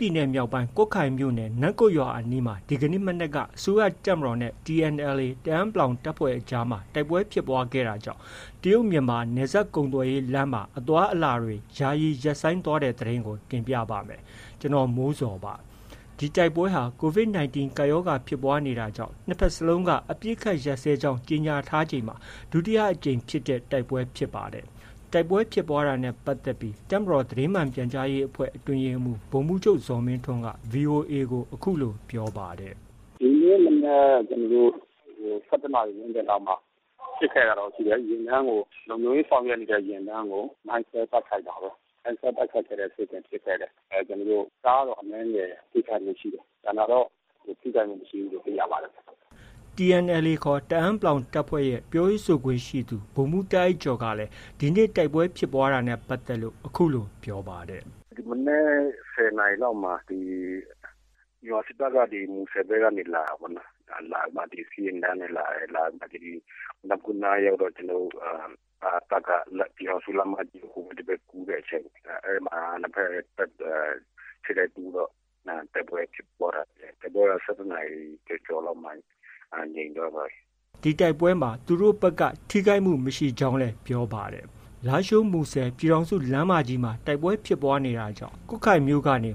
ပြည်နယ်မြောက်ပိုင်း ကွတ်ခိုင်မြို့နယ် နမ့်ကွတ်ရွာအနီးမှာ ဒီကနေ့မနက်က အစိုးရ တပ်မတော်နဲ့ TNLA တအာင်းပလောင်တပ်ဖွဲ့အကြားမှာ တိုက်ပွဲဖြစ်ပွားခဲ့တာကြောင့် တရုတ်မြန်မာ ကုန်သွယ်ရေးလမ်းမကြီးမှာ အသွားအလာတွေ ယာယီရပ်ဆိုင်းသွားတဲ့သတင်းကို ဗွီအိုအေမြန်မာပိုင်းသတင်းထောက် ကိုမိုးဇော်က တင်ပြပေးပါမယ်။ ဒီတိုက်ပွဲဟာ COVID-19 ကပ်ရောဂါဖြစ်ပွားနေတာကြောင့် နှစ်ဘက်စလုံးက အပစ်ရပ်ကြေညာထားချိန်မှာ ဒုတိယအကြိမ်ဖြစ်တဲ့ တိုက်ပွဲဖြစ်ပါတယ်။ တိုက်ပွဲဖြစ်ပွားတာနဲ့ ပတ်သက်ပြီး တပ်မတော်သတင်းမှန်ပြန်ကြားရေးအဖွဲ့ အတွင်းရေးမှူး ဗိုလ်မှုးချုပ် ဇော်မင်းထွန်းက VOA ကို အခုလို ပြောပါတယ်။ “ဒီကနေ့မနက် ၁၁ နာရီ ဝန်းကျင်လောက်မှာ အပစ်အခတ်ကတော့ ရှိတယ်။ ယာဉ်တန်းကို လုံခြုံရေးဆောင်ရွက်နေတဲ့ ယာဉ်တန်းကို မိုင်းခွဲ တိုက်ခိုက်တာပေါ့။ မိုင်းခွဲတိုက်ခိုက်တဲ့ဖြစ်စဉ်ဖြစ်ခဲ့တယ်။ ကားတော့ အနည်းငယ်ထိခိုက်ခဲ့တယ်။ ကျန်တာတော့ ထိခိုက်မှု မရှိဘူးလို့ သိရပါတယ်။” TNLA ခေါ် တအာင်းပလောင်တပ်ဖွဲ့က ပြောရေးဆိုခွင့်ရှိသူ ဗိုလ်မှုးတာ့အိုက်ကျော်က ဒီနေ့ တိုက်ပွဲဖြစ်ပွားတာနဲ့ ပတ်သက်လို့ အခုလို ပြောပါတယ်။ “ဒီမနက် ၁၀ နာရီလောက်မှာ မြန်မာစစ်တပ်က မူဆယ်ဘက်ကနေ လာတာပေါ့နော်။ စစ်ယာဉ်တန်းနဲ့လာတယ်။ လာပြီးမှ ဒီ နမ့်ကွတ်နား ရောက်တော့ ကျနော်တို့ တပ်က ပြည်ထောင်စုလမ်းမကြီး ဟိုဘက် ဒီဘက် ကူးတဲ့အချိန် အဲဒီမှာ နှစ်ဘက် ထိပ်တိုက်တိုးတော့ တိုက်ပွဲဖြစ်ပွားတာ။ တိုက်ပွဲက ၁၁ နာရီ ကျော်ကျော်လောက်မှာ ငြိမ်သွားပါတယ်။” ဒီတိုက်ပွဲဖြစ်ပွားတာနဲ့ ပတ်သက်လို့ ထိခိုက်မှု မရှိကြောင်းလည်း ပြောပါတယ်။ လားရှိုး- မူဆယ် ပြည်ထောင်စုလမ်းမကြီးမှာ တိုက်ပွဲဖြစ်ပွားခဲ့တာကြောင့် ကွတ်ခိုင်မြို့ကနေ